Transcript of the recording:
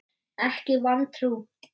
Ekki vantrú.